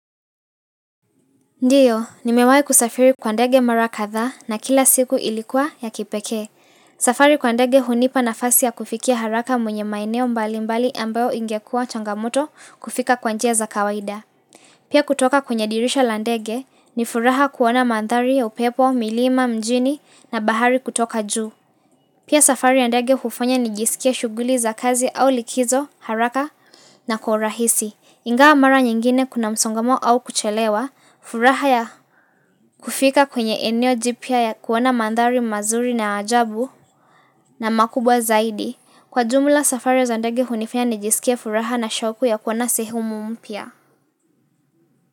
Ndio, nimewahi kusafiri kwa ndege mara kadhaa na kila siku ilikuwa ya kipekee. Safari kwa ndege hunipa nafasi ya kufikia haraka mwenye maeneo mbali mbali ambayo ingekua changamoto kufika kwa njia za kawaida. Pia kutoka kwenye dirisha la ndege ni furaha kuona mandhari ya upepo, milima, mjini na bahari kutoka juu. Pia safari ya ndege hufanya nijisikie shughuli za kazi au likizo, haraka na kwa urahisi. Ingawa mara nyingine kuna msongomano au kuchelewa furaha ya kufika kwenye eneo jipya ya kuona mandhari mazuri na ajabu na makubwa zaidi. Kwa jumla safari ya za ndege hunifanya nijisikie furaha na shauku ya kuona sehemu mpya.